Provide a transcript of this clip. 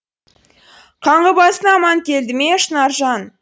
қаңғыбасың аман келді ме шынаржан